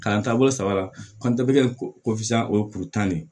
Kalan taabolo saba la o ye kuru tan de ye